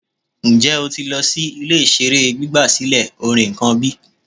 Njẹ o ti lọ si ile-iṣere gbigbasilẹ orin kan bi?